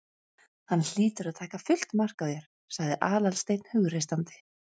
Hann hlýtur að taka fullt mark á þér- sagði Aðalsteinn hughreystandi.